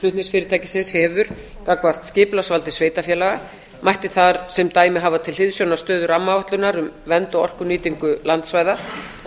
flutningsfyrirtækisins hefur gagnvart skipulagsvaldi sveitarfélaga mætti þar sem dæmi hafa til hliðsjónar stöðu rammaáætlunar um vernd og orkunýtingu landsvæða